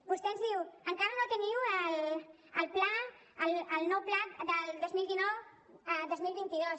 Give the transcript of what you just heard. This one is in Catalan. vostè ens diu encara no teniu el pla el nou pla del dos mil dinou dos mil vint dos